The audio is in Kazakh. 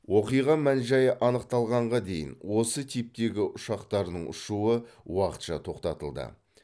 оқиға мән жайы анықталғанға дейін осы типтегі ұшақтардың ұшуы уақытша тоқтатылды